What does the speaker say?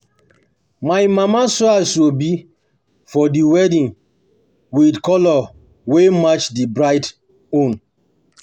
My mama sew asoebi for di wedding wit colour wey match di bride own.